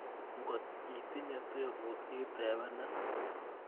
Ngot itinye tebut itepenan